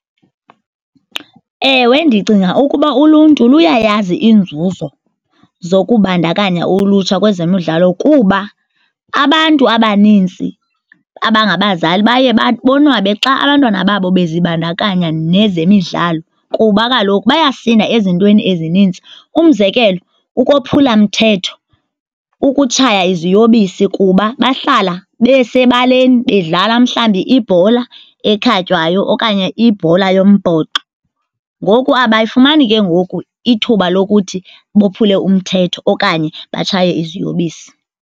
Ewe, ndicinga ukuba uluntu luyayazi iinzuzo zokubandakanya ulutsha kwezemidlalo kuba abantu abanintsi abangabazali baye bonwabe xa abantwana babo bezibandakanya nezemidlalo kuba kaloku bayasinda ezintweni ezinintsi. Umzekelo, ukophulamthetho, ukutshaya iziyobisi kuba bahlala besebaleni bedlala mhlawumbi ibhola ekhatywayo okanye ibhola yombhoxo. Ngoku abayifumani ke ngoku ithuba lokuthi bophule umthetho okanye batshaye iziyobisi.